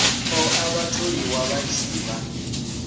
ṱoḓa vhatholiwa vha tshi vha